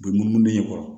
U bɛ munumunu den kɔrɔ